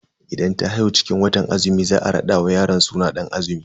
Idan ta haihu cikin watan azumi za a rada wa yaron suna Dan azumi.